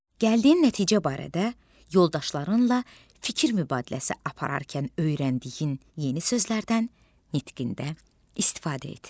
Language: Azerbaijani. Gəldiyin nəticə barədə yoldaşlarınla fikir mübadiləsi apararkən öyrəndiyin yeni sözlərdən nitqində istifadə et.